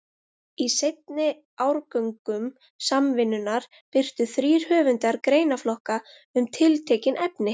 Í seinni árgöngum Samvinnunnar birtu þrír höfundar greinaflokka um tiltekin efni.